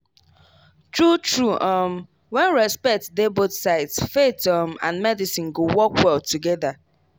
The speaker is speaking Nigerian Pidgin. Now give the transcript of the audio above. true true um when respect dey both sides faith um and medicine go work well together.